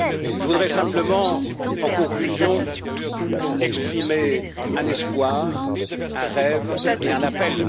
Je voudrais simplement, en conclusion, exprimer un espoir, un rêve et un appel.